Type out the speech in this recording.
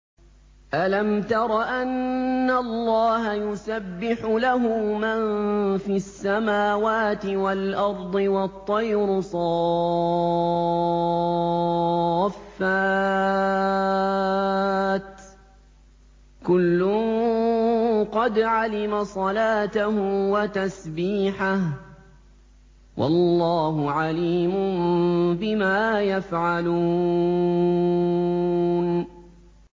أَلَمْ تَرَ أَنَّ اللَّهَ يُسَبِّحُ لَهُ مَن فِي السَّمَاوَاتِ وَالْأَرْضِ وَالطَّيْرُ صَافَّاتٍ ۖ كُلٌّ قَدْ عَلِمَ صَلَاتَهُ وَتَسْبِيحَهُ ۗ وَاللَّهُ عَلِيمٌ بِمَا يَفْعَلُونَ